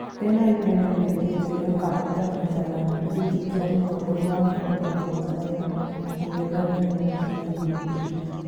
Bernard Membe nĩaoigĩte nĩakahĩtahĩtana gĩtĩ kĩa mũtongoria wa bũrũri wa Tanzania mũng'ethanĩro ũngĩtĩkĩra